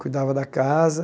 Cuidava da casa.